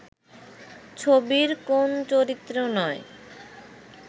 ছবির কোন চরিত্রে নয়